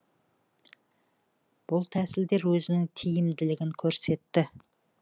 бұл тәсілдер өзінің тиімділігін көрсетті